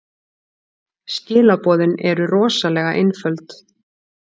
Skilaboðin eru rosalega einföld.